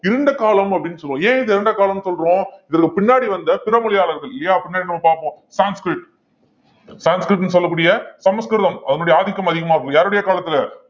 இருண்ட காலம் அப்படின்னு சொல்லுவோம் ஏன் இதை இருண்ட காலம்னு சொல்றோம் இதற்கு பின்னாடி வந்த பிற மொழியாளர்கள் இல்லையா பின்னாடி நம்ம பார்ப்போம் சான்ஸ்க்ரிட் சான்ஸ்க்ரிட்னு சொல்லக்கூடிய சமஸ்கிருதம் அதனுடைய ஆதிக்கம் அதிகமாக இருக்கும் யாருடைய காலத்துல